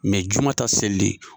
juma ta selili?